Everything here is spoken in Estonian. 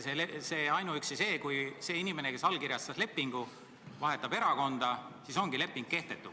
Kas tõesti ainuüksi selle tõttu, et see inimene, kes lepingu allkirjastas, vahetab erakonda, ongi leping kehtetu?